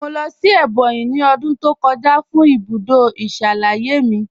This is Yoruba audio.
Mọ̀ lọ́ sí Ebonyi ní ọ̀dún tó kọ̀jà fún ibùdó ìṣalẹ̀yẹ̀ mí.